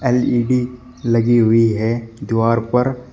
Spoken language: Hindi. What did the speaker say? एल_ई_डी लगी हुई है दीवार पर।